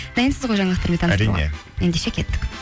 дайынсыз ғой жаңалықтармен ендеше кеттік